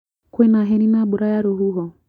Kwĩna heni na mbura ya rũhuho?